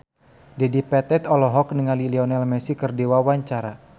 Dedi Petet olohok ningali Lionel Messi keur diwawancara